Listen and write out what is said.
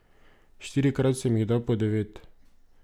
Štirikrat sem jih dal po devet.